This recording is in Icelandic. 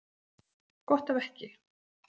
Gott ef ekki.